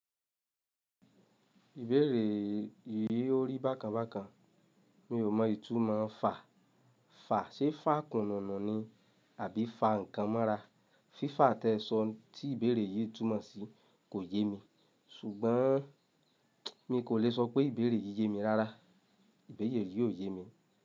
Ìbéèrè yìí ó rí bákan bákan. Mi ò mọ ìtumọ̀ fa. Fa ṣé fà kùnùnù ni àbí fa nǹkan mọ́ra? Fífa tí ẹ sọ tí ìbéèrè yìí túmọ̀ sí kò yé mi ṣùgbọ́n mi kò lè sọ pé ìbéèrè yìí yé mi rárá. Ìbéèrè yìí yó yé mi.